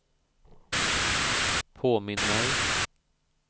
påminn mig